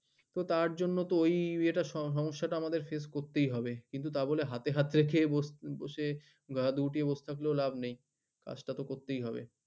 তার জন্য তো ওই ইয়েটা সমস্যা টা আমাদের face করতেই হবে কিন্তু তা বলে হাতে হাত রেখে গা গুটিয়ে বসে থাকলেও লাভ নেই কাজ টা তো করতেই হবে